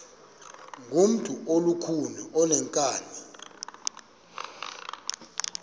ngumntu olukhuni oneenkani